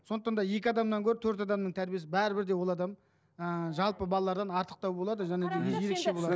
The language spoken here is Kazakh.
сондықтан да екі адамнан гөрі төрт адамның тәрбиесі бәрібір де ол адам ыыы жалпы балалардан артықтау болады және де ерекше